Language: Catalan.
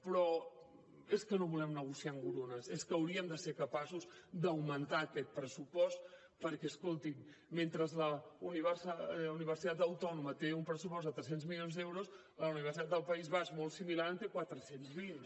però és que no volem negociar engrunes és que hauríem de ser capaços d’augmentar aquest pressupost perquè escoltin mentre la universitat autònoma té un pressupost de tres cents milions d’euros la universitat del país basc molt similar en té quatre cents i vint